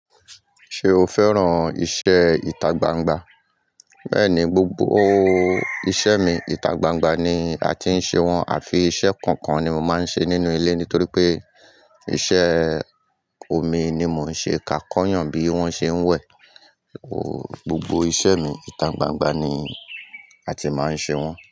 Ṣé o fẹ́ràn iṣẹ́ ìtagbangba? Bẹ́ẹ̀ni, gbogbo iṣẹ́ mi ìtagbangba ni a ti ń ṣe wọ́n àfi iṣẹ́ kọ̀ọ̀kan ni mo máa ń ṣe nínú ilé nítorí pé iṣẹ́ omi ni mo ń ṣe ká kọ́ eeyàn bí wọ́n ṣe ń wẹ̀. Gbogbo iṣẹ́ mi ìtagbangba ni a ti máa ń ṣe wọ́n.